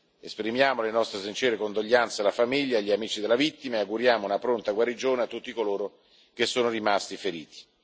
Esprimiamo le nostre sincere condoglianze alla famiglia e agli amici della vittima e auguriamo una pronta guarigione a tutti coloro che sono rimasti feriti.